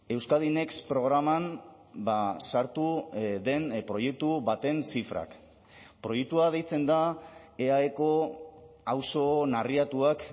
euskadi next programan sartu den proiektu baten zifrak proiektua deitzen da eaeko auzo narriatuak